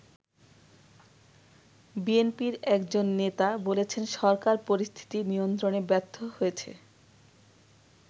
বিএনপির একজন নেতা বলেছেন সরকার পরিস্থিতি নিয়ন্ত্রণে ব্যর্থ হয়েছে।